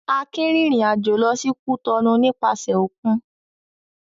Akin rìnrìn-àjò lọ sí Cotonou nípasẹ̀ òkun.